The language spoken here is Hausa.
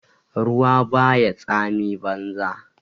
Ruwa ba ya tsami banza